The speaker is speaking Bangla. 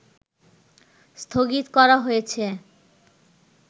স্থগিত করা হয়েছে